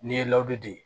N'i ye ladege